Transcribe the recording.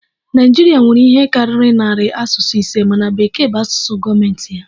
Naịjirịa nwere ihe karịrị narị asụsụ ise mana Bekee bụ asụsụ gọọmentị ya